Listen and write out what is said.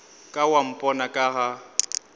ka wa mpona ka ga